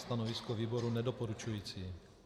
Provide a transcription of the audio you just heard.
Stanovisko výboru nedoporučující.